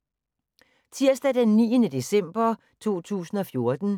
Tirsdag d. 9. december 2014